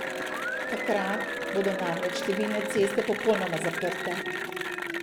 Takrat bodo namreč številne ceste popolnoma zaprte.